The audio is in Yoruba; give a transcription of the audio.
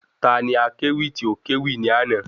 Ta ni akẹ́wì tí o kẹ́wì ní àná?